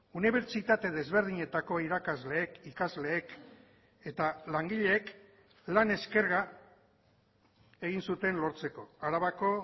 unibertsitate desberdinetako irakasleek ikasleek eta langileek lan eskerga egin zuten lortzeko arabako